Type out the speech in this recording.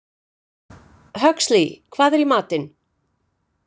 Huxley, hvað er í matinn?